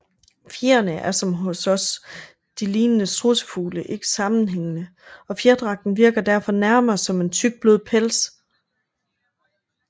Fjerene er som hos de lignende strudsefugle ikke sammenhængende og fjerdragten virker derfor nærmere som en tyk blød pels